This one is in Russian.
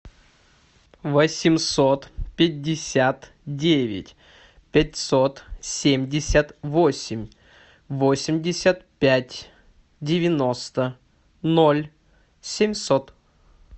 восемьсот пятьдесят девять пятьсот семьдесят восемь восемьдесят пять девяносто ноль семьсот